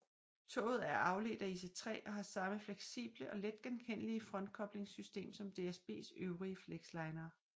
Toget er afledt af IC3 og har samme fleksible og let genkendelige frontkoblingssystem som DSBs øvrige flexlinere